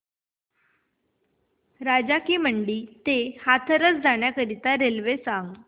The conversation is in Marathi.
राजा की मंडी ते हाथरस जाण्यासाठी रेल्वे सांग